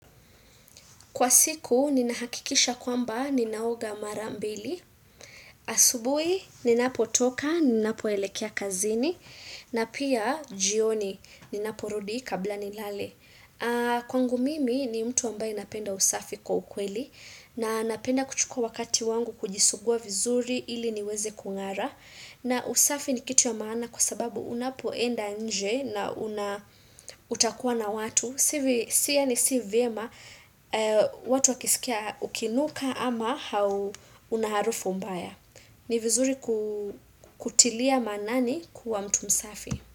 Kwa siku, ninahakikisha kwamba ninaoga marambili. Asubuhi, ninapotoka, ninapoelekea kazini. Na pia, jioni, ninaporudi kabla nilale. Kwangu mimi, ni mtu ambaye napenda usafi kwa ukweli. Na napenda kuchukua wakati wangu kujisugua vizuri ili niweze kung'ara. Na usafi ni kitu ya maana kwa sababu unapoenda nje na utakua na watu. Tena si vyema watu wakisikia ukinuka ama hau una harufu mbaya. Ni vizuri kutilia maanani kuwa mtu msafi.